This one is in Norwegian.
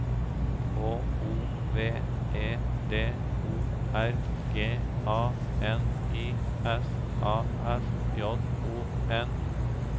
H O V E D O R G A N I S A S J O N